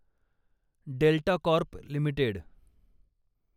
delta Corp limited